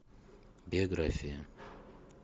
биография